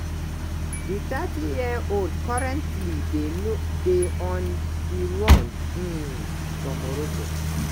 di 30-year-old currently dey on di run um for morocco.